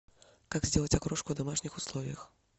как сделать окрошку в домашних условиях